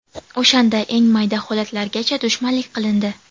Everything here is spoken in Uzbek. O‘shanda eng mayda holatlargacha dushmanlik qilindi.